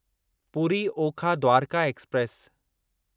Puri Okha Dwarka express